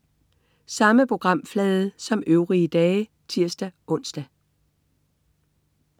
Samme programflade som øvrige dage (tirs-ons)